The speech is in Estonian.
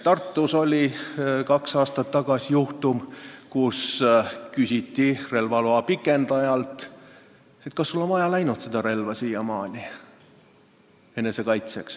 Tartus oli kaks aastat tagasi juhtum, kui küsiti relvaloa pikendajalt, kas tal on siiamaani relva enesekaitseks vaja läinud.